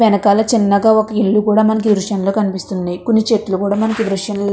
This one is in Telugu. వెనకాల చిన్నగా ఒక ఇల్లు కూడా మనకు ఈ దృశ్యంలో కనిపిస్తుంది. కొన్ని చెట్లు కూడా మనకి దృశ్యం --